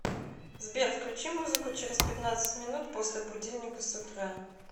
сбер включи музыку через пятнадцать минут после будильника с утра